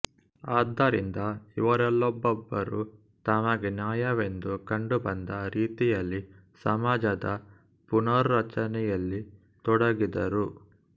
ಆದ್ದರಿಂದ ಇವರಲ್ಲೊಬ್ಬೊಬ್ಬರೂ ತಮಗೆ ನ್ಯಾಯವೆಂದು ಕಂಡುಬಂದ ರೀತಿಯಲ್ಲಿಸಮಾಜದ ಪುನರ್ರಚನೆಯಲ್ಲಿ ತೊಡಗಿದರು